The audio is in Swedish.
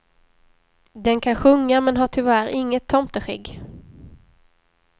Den kan sjunga men har tyvärr inget tomteskägg.